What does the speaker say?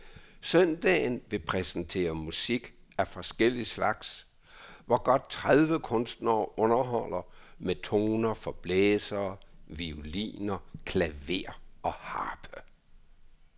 Søndagen vil præsentere musik af forskellig slags, hvor godt tredive kunstnere underholder med toner for blæsere, violiner, klaver og harpe.